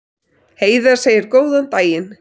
Heiða segir góðan daginn!